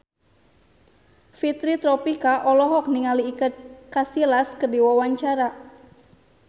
Fitri Tropika olohok ningali Iker Casillas keur diwawancara